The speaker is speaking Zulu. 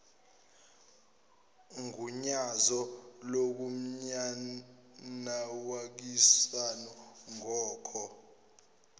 ugunyazo lokumayinawakhishwa ngoko